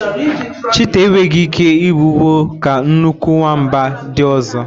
Chịtáh enweghị ike mbigbọ ka nnukwu nwamba ndị ọzọ.